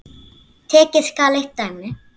Tekið skal eitt dæmi.